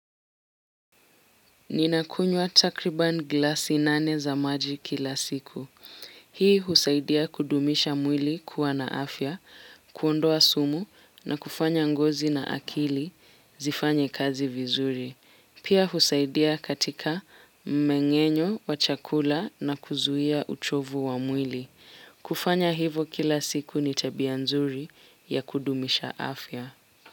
Ninakunywa takriban glasi nane za maji kila siku. Hii husaidia kudumisha mwili kuwa na afya, kuondoa sumu na kufanya ngozi na akili zifanye kazi vizuri. Pia husaidia katika mmengenyo wa chakula na kuzuia uchovu wa mwili. Kufanya hivo kila siku ni tabia nzuri ya kudumisha afya.